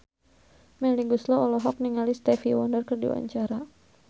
Melly Goeslaw olohok ningali Stevie Wonder keur diwawancara